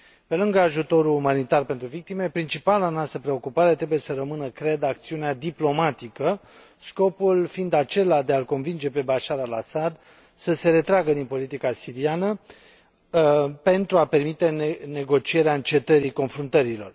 Pe lângă ajutorul umanitar pentru victime, principala noastră preocupare trebuie să rămână, cred, acțiunea diplomatică, scopul fiind acela de a l convinge pe Bashar al Assad să se retragă din politica siriană, pentru a permite negocierea încetării confruntărilor.